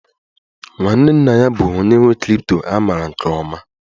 Nwanne nna ya bụ onye nwe crypto a maara nke ọma